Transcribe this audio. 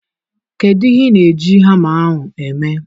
Kedu ihe ị na-eji hama ahụ eme?